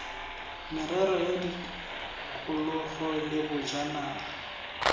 merero ya tikologo le bojanala